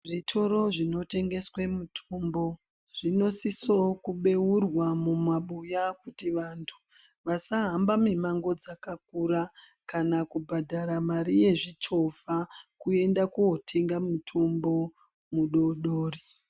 Zvitoro zvinotengeswe mitombo zvinosisawo kubeurwa mumabuya kuti vantu vasahambe mimango dzakakura kana kubhadhara mari yezvichovha kuende kotenge mitombo mudodori.